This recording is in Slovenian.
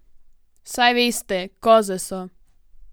Saj veste, koze so!